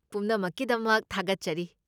ꯄꯨꯝꯅꯃꯛꯀꯤꯗꯃꯛ ꯊꯥꯒꯠꯆꯔꯤ꯫